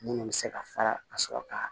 Munnu bɛ se ka fara ka sɔrɔ ka